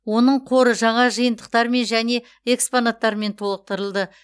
оның қоры жаңа жиынтықтармен және экспонаттармен толықтырылды